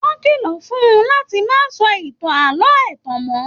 Wọn kìlọ fún-ùn láti má sọ ìtàn ààlọ́ ẹtan mọ.